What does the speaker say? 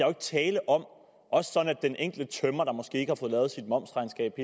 er tale om at den enkelte tømrer der måske ikke har fået lavet sit momsregnskab